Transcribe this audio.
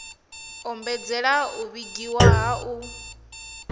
ombedzela u vhigiwa ha u